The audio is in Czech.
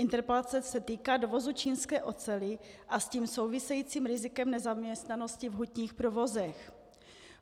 Interpelace se týká dovozu čínské oceli a s tím souvisejícím rizikem nezaměstnanosti v hutních provozech.